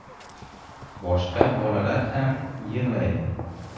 Boshqa bolalar ham yig‘laydi.